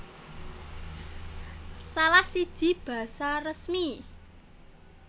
Salah siji basa resmi